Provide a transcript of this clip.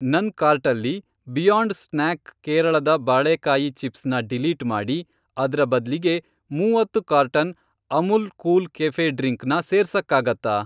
ನನ್ ಕಾರ್ಟಲ್ಲಿ, Beyond Snack ಕೇರಳದ ಬಾಳೇಕಾಯಿ ಚಿಪ್ಸ್ ನ ಡಿಲೀಟ್ ಮಾಡಿ, ಅದ್ರ ಬದ್ಲಿಗೆ ಮೂವತ್ತು carton Amul cool cafe drink ನ ಸೇರ್ಸಕ್ಕಾಗತ್ತಾ?